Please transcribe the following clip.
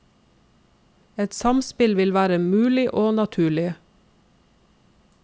Et samspill vil være mulig og naturlig.